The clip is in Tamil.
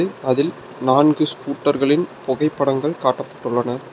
அதில் நான்கு ஸ்கூட்டர்களின் புகைப்படங்கள் காட்டப்பட்டுள்ளன.